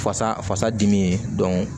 Fasa fasa dimi ye